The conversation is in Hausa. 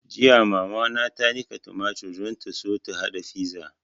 Jiya mama ta niƙa tumatur don ta so ta haɗa fiza